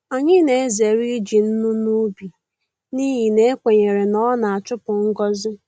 Anyị na-ezere iji nnu n’ubi n’ihi na ekwenyere na ọ na-achupu ngọzi.